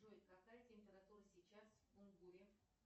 джой какая температура сейчас в кунгуре